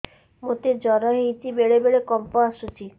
ମୋତେ ଜ୍ୱର ହେଇଚି ବେଳେ ବେଳେ କମ୍ପ ଆସୁଛି